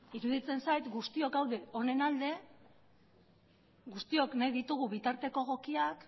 iruditzen zait guztiok gaude honen alde guztiok nahi ditugu bitarteko egokiak